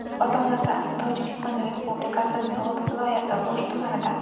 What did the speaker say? Ota-onasi asli Tojikiston Respublikasi So‘g‘d viloyati O‘sh tumanidan.